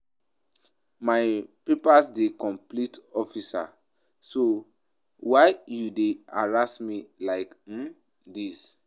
My papers dey complete officer so why you dey harass me like um dis